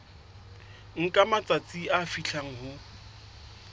nka matsatsi a fihlang ho